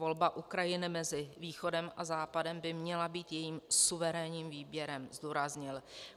Volba Ukrajiny mezi Východem a Západem by měla být jejím suverénním výběrem," zdůraznil.